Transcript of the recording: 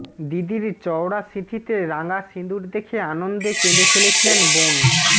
দিদির চওড়া সিঁথিতে রাঙা সিঁদুর দেখে আনন্দে কেঁদে ফেলেছিলেন বোন